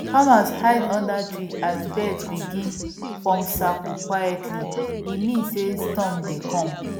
farmer hide under trees as bird begin form circle quietly e mean sey storm dey come